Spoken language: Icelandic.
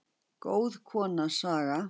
Góð kona, Saga.